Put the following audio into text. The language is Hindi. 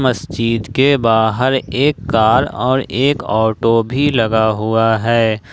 मस्जिद के बाहर एक कार और एक ऑटो भी लगा हुआ है ।